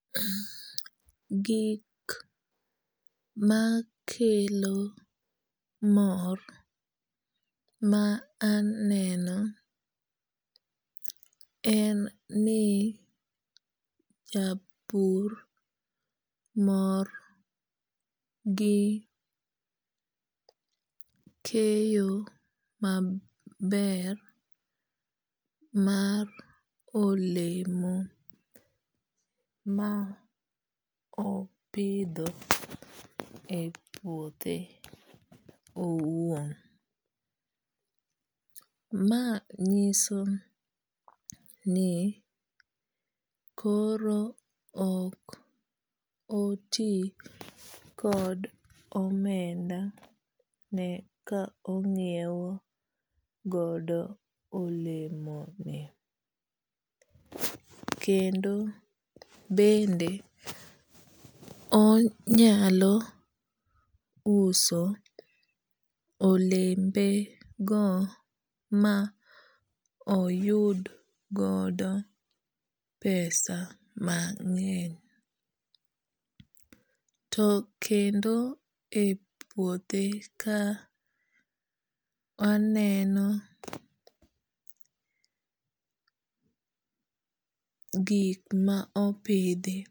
Gik makelo mor ma aneno en ni japur mor gi keyo maber mar olemo ma opidho e puothe owuon. Ma nyiso ni koro ok oti kod omenda ne ka ong'iew godo olemo ni. Kendo bende onyalo uso olembe go ma oyud godo pesa mang'eny. To kendo e puothe ka waneno gik ma opidhi.